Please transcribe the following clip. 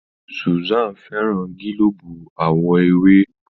Susan féràn gilobu àwo ewé.